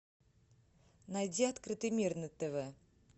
найди открытый мир на тв